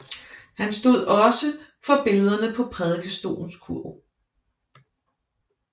Han stod også for billedener på prædikestolens kurv